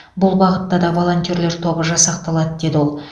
бұл бағытта да волонтерлер тобы жасақталады деді ол